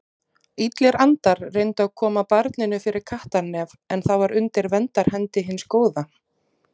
Illir andar reyndu að koma barninu fyrir kattarnef en það var undir verndarhendi hins góða.